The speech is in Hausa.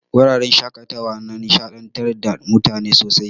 Wuraren shaƙatawa na nishaɗantar da mutane sosai.